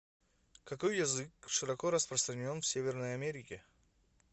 какой язык широко распространен в северной америке